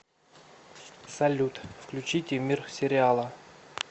салют включите мир сериала